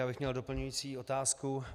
Já bych měl doplňující otázku.